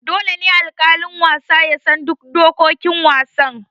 Dole ne alƙalin wasa ya san duk dokokin wasan.